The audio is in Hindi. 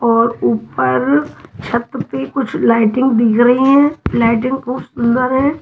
और ऊपर छत पे कुछ लाइटिंग दिख रही हैं लाइटिंग बहुत सुंदर हैं।